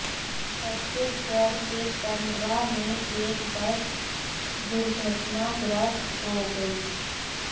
छत्तीसगढ़ के पेंड्रा में एक बस दुर्घटनाग्रस्त हो गई